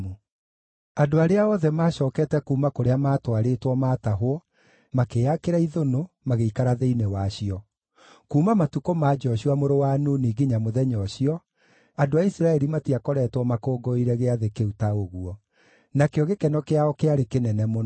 Andũ arĩa othe maacookete kuuma kũrĩa maatwarĩtwo maatahwo makĩĩakĩra ithũnũ, magĩikara thĩinĩ wacio. Kuuma matukũ ma Joshua mũrũ wa Nuni nginya mũthenya ũcio, andũ a Isiraeli matiakoretwo makũngũĩire gĩathĩ kĩu ta ũguo. Nakĩo gĩkeno kĩao kĩarĩ kĩnene mũno.